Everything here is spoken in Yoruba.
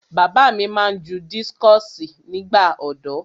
Bàbá mi máa ń ju dískọ̀sì nígbà ọ̀dọ́.